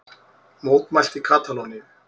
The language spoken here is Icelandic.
Mótmælt í Katalóníu